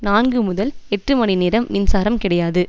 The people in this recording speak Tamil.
நான்கு முதல் எட்டு மணி நேரம் மின்சாரம் கிடையாது